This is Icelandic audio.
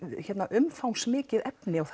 umfangsmikið efni og